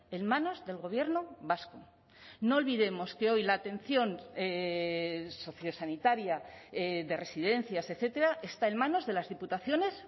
en manos del gobierno vasco no olvidemos que hoy la atención sociosanitaria de residencias etcétera está en manos de las diputaciones